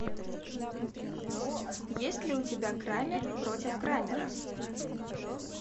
есть ли у тебя крамер против крамера